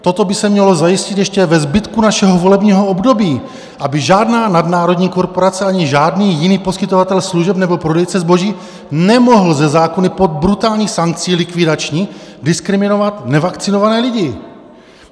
Toto by se mělo zajistit ještě ve zbytku našeho volebního období, aby žádná nadnárodní korporace ani žádný jiný poskytovatel služeb nebo prodejce zboží nemohl ze zákona pod brutální sankcí likvidační diskriminovat nevakcinované lidi!